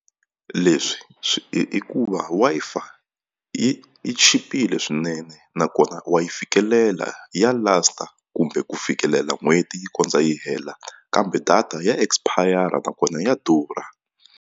Leswi swi hikuva Wi-Fi yi yi chipile swinene nakona wa yi fikelela ya last-a kumbe ku fikelela n'hweti yi kondza yi hela kambe data ya expire-a nakona ya durha.